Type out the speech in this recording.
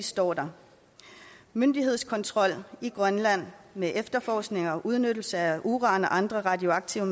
står der myndighedskontrol i grønland med efterforskning og udnyttelse af uran og andre radioaktive